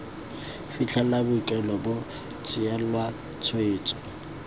fitlhela boikuelo bo tseelwa tshwetso